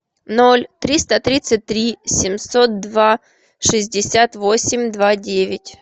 ноль триста тридцать три семьсот два шестьдесят восемь два девять